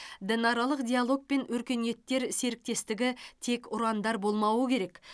дінаралық диалог пен өркениеттер серіктестігі тек ұрандар болмауы керек